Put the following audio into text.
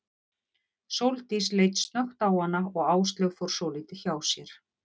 Sóldís leit snöggt á hana og Áslaug fór svolítið hjá sér.